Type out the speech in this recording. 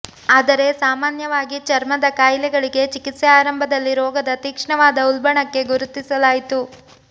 ಆದರೆ ಸಾಮಾನ್ಯವಾಗಿ ಚರ್ಮದ ಕಾಯಿಲೆಗಳಿಗೆ ಚಿಕಿತ್ಸೆ ಆರಂಭದಲ್ಲಿ ರೋಗದ ತೀಕ್ಷ್ಣವಾದ ಉಲ್ಬಣಕ್ಕೆ ಗುರುತಿಸಲಾಯಿತು